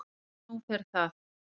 Og nú fer það